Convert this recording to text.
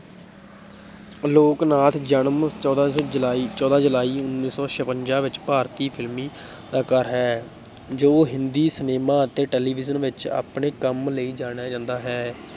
ਆਲੋਕਨਾਥ ਜਨਮ ਚੌਦਾਂ ਜੁਲਾਈ ਚੌਦਾਂ ਜੁਲਾਈ ਉੱਨੀ ਸੌ ਛਪੰਜਾ ਵਿੱਚ ਭਾਰਤੀ ਫ਼ਿਲਮੀ ਹੈ ਜੋ ਹਿੰਦੀ ਸਿਨੇਮਾ ਅਤੇ ਟੈਲੀਵਿਜ਼ਨ ਵਿੱਚ ਆਪਣੇ ਕੰਮ ਲਈ ਜਾਣਿਆ ਜਾਂਦਾ ਹੈ।